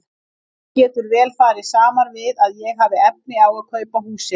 Þetta getur vel farið saman við að ég hafi engin efni á að kaupa húsið.